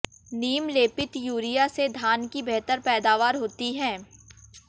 नीम लेपित यूरिया से धान की बेहतर पैदावार होती है